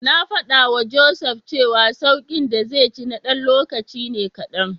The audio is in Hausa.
Na faɗawa Joseph cewa sauƙin da zai ji na ɗan lokaci ne kaɗan.